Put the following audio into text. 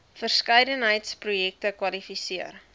verskeidenheid projekte kwalifiseer